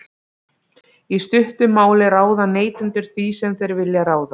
í stuttu máli ráða neytendur því sem þeir vilja ráða